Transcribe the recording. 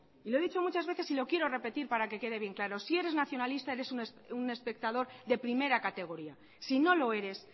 y lo he dicho muchas veces y lo quiero repetir para que quede bien claro si eres nacionalista eres un espectador de primera categoría si no lo eres